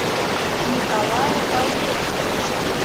николая валерьевича